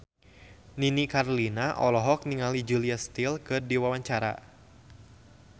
Nini Carlina olohok ningali Julia Stiles keur diwawancara